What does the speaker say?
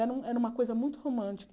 Era era uma coisa muito romântica.